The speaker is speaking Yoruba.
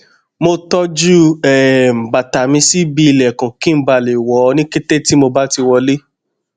mo tọjú um bàtà mi sí ibi ìlẹkùn kí n bà le le wọ ọ ní kété tí mo bá ti wọlé